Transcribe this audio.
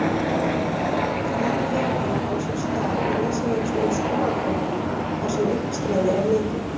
Slík þétting á sér stað í risavöxnum skúraklökkum þar sem uppstreymi er mikið.